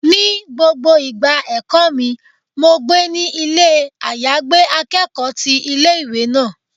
Ní gbogbo ìgbà ẹ̀kọ́ mi, mo gbé ní ilé àyágbé akẹ́kọ̀ọ́ ti ilé ìwé náà.